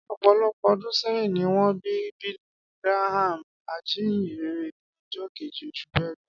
Ọ̀pọ̀lọpọ̀ ọdún sẹ́yìn ni wọ́n bí Billy Graham, ajínyìnrere, ní ọjọ́ keje, oṣù Belu